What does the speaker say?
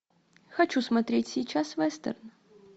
хочу смотреть сейчас вестерн